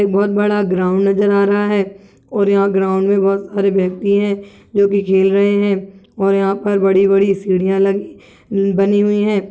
बहोत बड़ा ग्राउन्ड नज़र आ रहा है और यहाँ ग्राउन्ड में बहोत सारे व्यक्ति है जोकि खेल रहे है और यहाँ पर बड़ी -बड़ी सीढ़ियां लगी बनी हुई हैं।